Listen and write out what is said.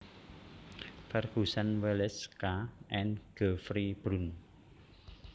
Ferguson Wallace K and Geoffrey Bruun